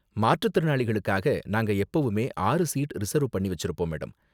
மாற்றுத்திறனாளிகளுக்காக நாங்க எப்பவுமே ஆறு சீட் ரிசர்வ் பண்ணி வெச்சிருப்போம் மேடம்.